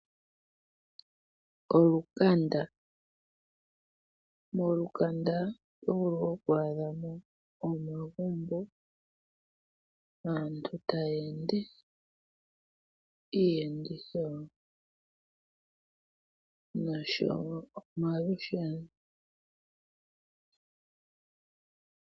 Olukanda. Molukanda otovulu okwaadhamo omagumbo naantu taya ende, iiyenditho noshowo omalusheno.